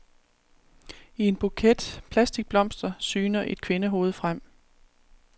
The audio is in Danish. I en buket plastikblomster syner et kvindehoved frem.